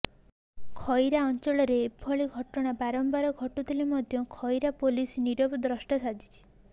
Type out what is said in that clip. ଖଇରା ଅଞ୍ଚଳରେ ଏଭଳି ଘଟଣା ବାରମ୍ବାର ଘଟୁଥିଲେ ମଧ୍ୟ ଖଇରା ପୋଲିସ ନୀରବ ଦ୍ରଷ୍ଟା ସାଜିଛି